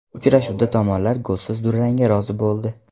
Uchrashuvda tomonlar golsiz durangga rozi bo‘ldi.